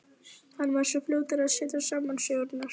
Allt hófst það með friðsemd og fölskvalausri gleði.